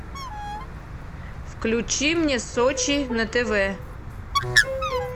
включи мне сочи на тв